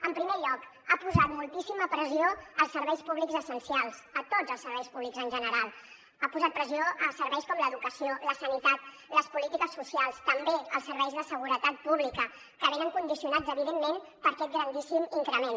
en primer lloc ha posat moltíssima pressió als serveis públics essencials a tots els serveis públics en general ha posat pressió a serveis com l’educació la sanitat les polítiques socials també els serveis de seguretat pública que venen condicionats evidentment per aquest grandíssim increment